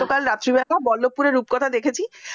গতকাল রাত্রে বল্লবপুর রূপকথা টি দেখেছি